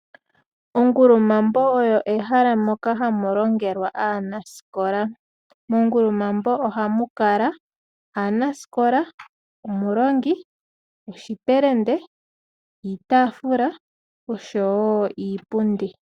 Ongulumambo oyo ehala moka hamu longelwa aanasikola. Mongulumambo ohamu kala aanasikola, omulongi, oshipelende, iitaafula oshowo iipundi.